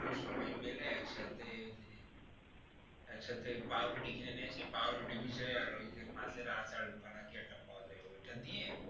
সবাই মিলে একসাথে, একসাথে ওই যে একসাথে পাউরুটি কিনে নিয়ে এসে পাউরুটি ভিজাই আর ওই যে মাছের আদার কিনা একটা পাওয়া যায় ওই টা দিয়ে,